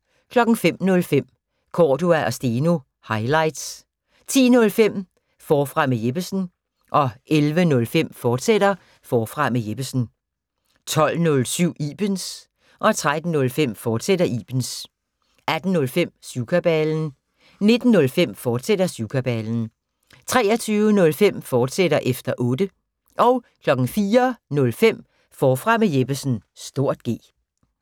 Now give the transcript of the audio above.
05:05: Cordua & Steno – highlights 10:05: Forfra med Jeppesen 11:05: Forfra med Jeppesen, fortsat 12:07: Ibens 13:05: Ibens, fortsat 18:05: Syvkabalen 19:05: Syvkabalen, fortsat 23:05: Efter Otte, fortsat 04:05: Forfra med Jeppesen (G)